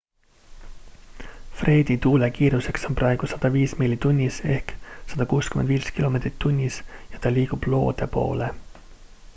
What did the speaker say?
fredi tuulekiiruseks on praegu 105 miili tunnis 165 km/h ja ta liigub loode poole